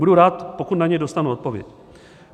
Budu rád, pokud na něj dostanu odpověď.